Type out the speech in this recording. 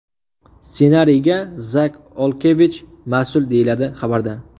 Ssenariyga Zak Olkevich mas’ul, deyiladi xabarda.